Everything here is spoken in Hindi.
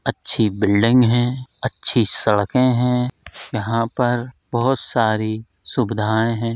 अच्छी बिल्डिंग है अच्छी सड़कें हैं यहाँ पर बहोत सारी सुविधाएं हैं।